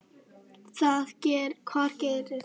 Hvað gerðir þú við hana?